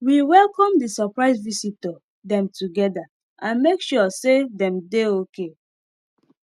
we welcome the suprise visitor them together and make sure say them dey okay